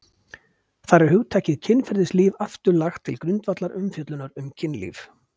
Þar er hugtakið kynferðislíf aftur lagt til grundvallar umfjöllunar um kynlíf.